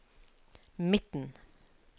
midten